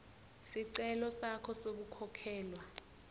sicelo sakho sekukhokhelwa